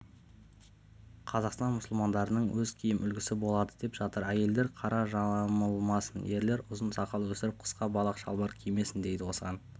қазақстан мұсылмандарының өз киім үлгісі болады деп жатыр әйелдер қара жамылмасын ерлер ұзын сақал өсіріп қысқа балақ шалбар кимесін дейді осыған